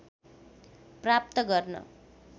प्राप्त गर्न